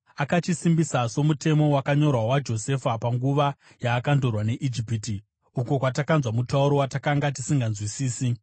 Akachisimbisa somutemo wakanyorwa waJosefa panguva yaakandorwa neIjipiti, uko kwatakanzwa mutauro watakanga tisinganzwisisi.